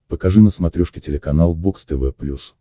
покажи на смотрешке телеканал бокс тв плюс